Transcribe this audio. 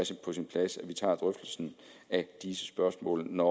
på sin plads at vi tager drøftelsen af de spørgsmål når